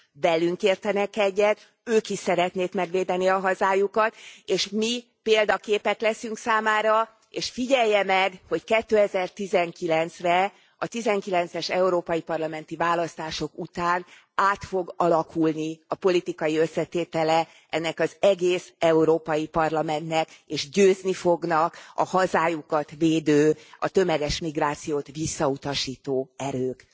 Velünk értenek egyet, ők is szeretnék megvédeni a hazájukat, és mi példaképek leszünk számára, és figyelje meg, hogy 2019 re, a '19 es európai parlamenti választások után át fog alakulni a politikai összetétele az egész Európai Parlamentnek, és győzni fognak a hazájukat védő, a tömeges migrációt visszautasító erők.